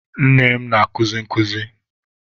Nne m na-akuzi nkuzi.